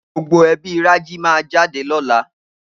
Gbogbo ebí Raji máa jáde lọ́la.